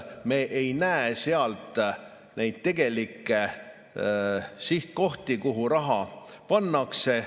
Me ei näe neid tegelikke sihtkohti, kuhu raha pannakse.